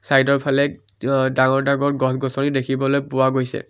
Side ৰ ফালে অ ডাঙৰ-ডাঙৰ গছ-গছনি দেখিবলৈ পোৱা গৈছে।